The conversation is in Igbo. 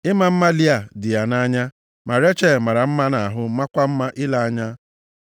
Ịma mma Lịa dị ya nʼanya, ma Rechel mara mma nʼahụ, maakwa mma ile anya.